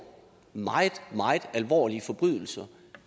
meget meget alvorlige forbrydelser